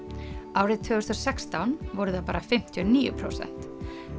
árið tvö þúsund og sextán voru það bara fimmtíu og níu prósent